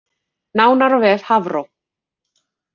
Nánar á vef Hafró